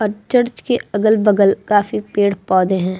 और चर्च के अगल-बगल काफी पेड़ पौधे हैं।